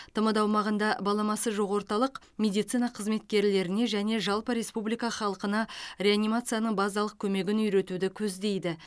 тмд аумағында баламасы жоқ орталық медицина қызметкерлеріне және жалпы республика халқына реанимацияның базалық көмегін үйретуді көздейді